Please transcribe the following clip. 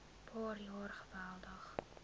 paar jaar geweldig